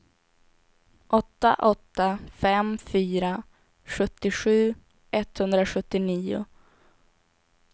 åtta åtta fem fyra sjuttiosju etthundrasjuttionio